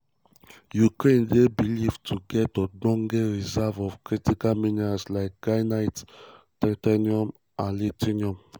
ukraine dey believed to get ogbonge reserve of critical minerals like graphite titanium and lithium.